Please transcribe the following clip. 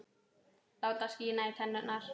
Láta skína í tennur.